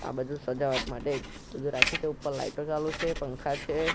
આ બધુ સજાવટ માટે બધુ રાખ્યુ છે ઉપર લાઈટો ચાલુ છે પંખા છે.